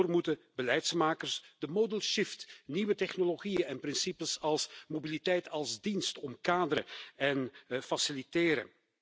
Daarvoor moeten beleidsmakers de modal shift nieuwe technologieën en principes als mobiliteit als dienst omkaderen en faciliteren.